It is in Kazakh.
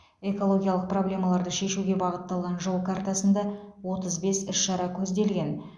экологиялық проблемаларды шешуге бағытталған жол картасында отыз бес іс шара көзделген